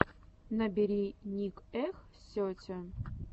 набери ник эх сети